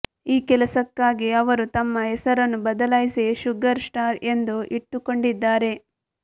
ಈ ಕೆಲಸಕ್ಕಾಗಿ ಅವರು ತಮ್ಮ ಹೆಸರನ್ನು ಬದಲಾಯಿಸಿ ಶುಗರ್ ಸ್ಟಾರ್ ಎಂದು ಇಟ್ಟುಕೊಂಡಿದ್ದಾರೆ